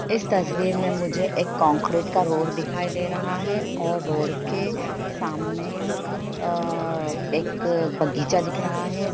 इस तस्वीर में मुझे एक कंक्रीट का रोड दिखाई दे रहा है और रोड के सामने अ एक बगीचा दिख रहा है।